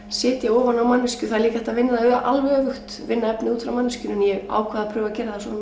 setja ofan á manneskju það er líka hægt að vinna það alveg öfugt vinna efnið út frá manneskjunni en ég ákvað að prófa